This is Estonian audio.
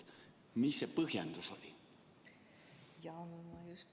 Mis see põhjendus oli?